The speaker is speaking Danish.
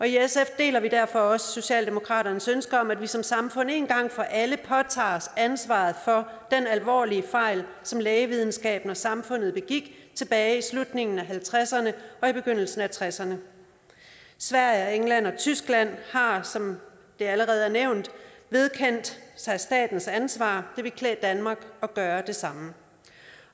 i sf deler vi derfor også socialdemokratiets ønske om at vi som samfund en gang for alle påtager os ansvaret for den alvorlige fejl som lægevidenskaben og samfundet begik tilbage i slutningen af nitten halvtredserne og i begyndelsen af nitten tresserne sverige england og tyskland har som det allerede er nævnt vedkendt sig statens ansvar det ville klæde danmark at gøre det samme